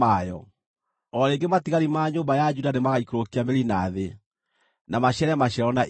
O rĩngĩ matigari ma nyũmba ya Juda nĩmagaikũrũkia mĩri na thĩ, na maciare maciaro na igũrũ.